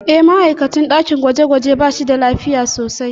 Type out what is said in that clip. E, ma'aikacin ɗakin gwaje-gwaje ba shi da lafiya sosai.